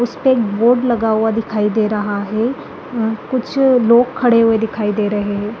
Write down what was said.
उसपे एक बोर्ड लगा हुआ दिखाई दे रहा है अ कुछ लोग खड़े हुए दिखाई दे रहे हैं।